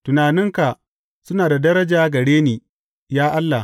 Tunaninka suna da daraja gare ni, ya Allah!